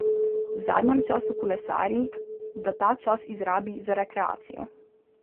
V zadnjem času kolesari, da ta čas izrabi za rekreacijo.